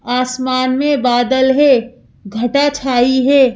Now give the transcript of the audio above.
आसमान में बादल है घटा छाई है।